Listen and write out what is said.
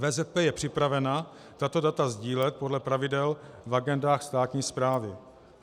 VZP je připravena tato data sdílet podle pravidel v agendách státní správy.